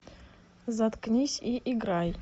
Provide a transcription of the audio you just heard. заткнись и играй